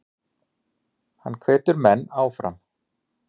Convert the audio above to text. Hann hvetur menn áfram.